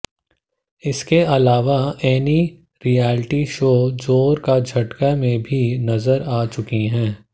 इसके अलावा Annie reality show जोर का झटका में भी नजर आ चुकी हैं